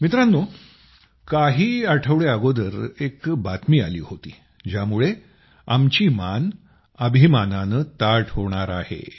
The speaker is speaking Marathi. मित्रांनो काही आठवडे अगोदर एक बातमी आली होती ज्यामुळे आमची मान गर्वाने ताठ होणार आहे